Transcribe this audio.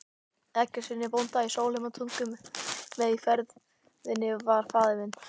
Eggertssyni bónda í Sólheimatungu, með í ferðinni var faðir minn